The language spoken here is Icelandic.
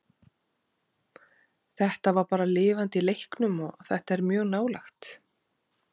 Þetta var bara lifandi í leiknum og þetta er mjög nálægt.